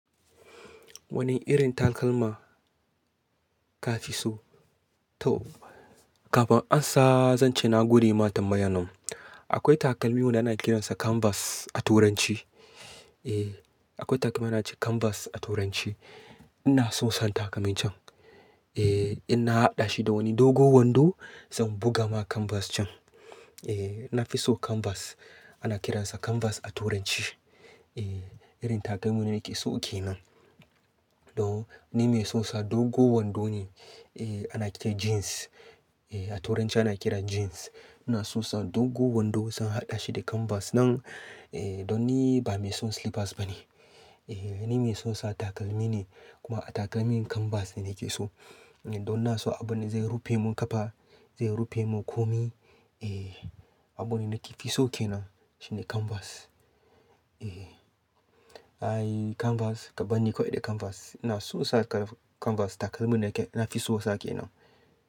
Wani irin takalma ka fi so? To, kafin an sa, zan ce na gode ma tambayanin. Akwai takalmi wanda ana kiransa canvas a turanci. Eh, akwai takalmi ana ce canvas a turanci. Ina so san takalmin can. Eh, in na haɗa shi da wani dogo wando, zan buga ma canvas can. Eh, na fi so canvas. Ana kiransa canvas a turanci. Eh, irin takalmi ne nake so ke nan. To, ni mai son sa dogo wando ne. Eh, ana kira jeans. Eh, a turanci ana kiran jeans. Ina son sa dogo wando zan haɗa shi da canvas nan. Eh, don ni ba mai son slippers ba ne. Eh, ni mai son sa takalmi ne. Kuma a takalmin canvas ne nake so. Eh, don na so abune zai rufe mun ƙafa, zai rufe mun komi. Eh, abune nake fi so ke nan shine canvas. Eh. Ai canvas, gaba ni kawai da canvas. Ina so sa canvas takalmin nake, na fi so sake nan.